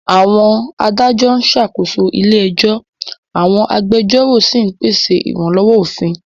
Àwọn adájọ́ ń ṣàkóso ilé ẹjọ́, àwọn agbẹjọ́rò sì ń pèsè ìrànlọ́wọ́ òfin.